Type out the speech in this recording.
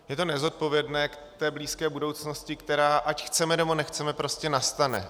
Je to nezodpovědné k té blízké budoucnosti, která, ať chceme, nebo nechceme, prostě nastane.